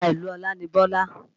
Ará ìlú Ọlá ni Bọ́lá